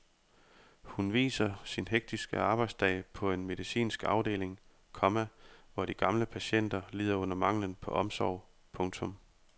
Hun viser sin hektiske arbejdsdag på en medicinsk afdeling, komma hvor de gamle patienter lider under manglen på omsorg. punktum